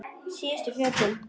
Síðustu fötin.